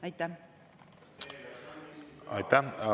Aitäh!